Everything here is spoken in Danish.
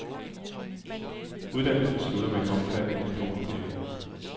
Uddannelsen slutter med en omfattende diplomopgave.